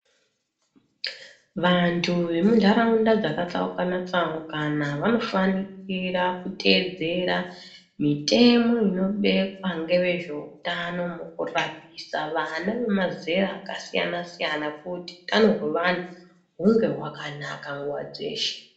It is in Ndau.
Vantu vemuntaraunda dzakatsaukana tsaukana vanofanikira kuteedzera mitemo inobekwa ngevezveutano mukurapisa vana vemazera akasiyana siyana kuti utano hwevana hunge hwakanaka nguwa dzeshe.